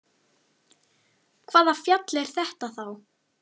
Hvaða fjall er þetta þá?